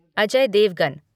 Ajay Devgan